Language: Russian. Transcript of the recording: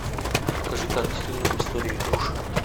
покажи картину история игрушек